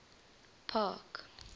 park